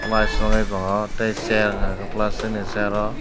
paisuknai tongo tei chair hwnka hwnkhe plasticni chair o.